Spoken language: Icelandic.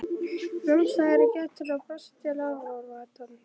Nam staðar í gættinni og brosti til áhorfandans.